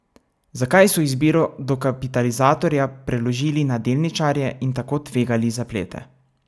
Zakaj so izbiro dokapitalizatorja preložili na delničarje in tako tvegali zaplete?